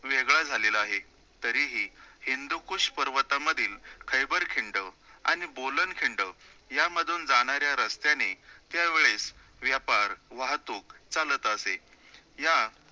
वेगळा झालेला आहे, तरीही हिंदूकुश पर्वतामधील खैबर खिंड आणि बोलन खिंड यामधून जाणाऱ्या रस्त्याने त्यावेळेस व्यापार, वाहतूक चालतं असे, या